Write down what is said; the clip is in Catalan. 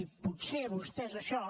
i potser a vostès això